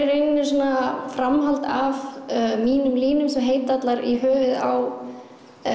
rauninni svona framhald af mínum línum sem heita allar í höfuðið á